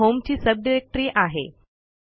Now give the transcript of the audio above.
जी होमची subdirectory आहे